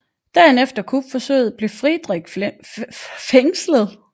Dagen efter kupforsøget blev Friedrich fængslet